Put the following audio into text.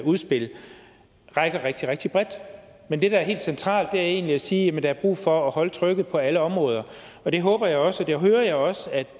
udspil rigtig rigtig bredt men det der er helt centralt er egentlig at sige at der er brug for at holde trykket på alle områder og det håber jeg også og det hører jeg også at